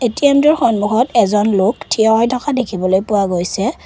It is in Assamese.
এ_টি_এম টোৰ সন্মূখত এজন লোক থিয় হৈ থকা দেখিবলৈ পোৱা গৈছে।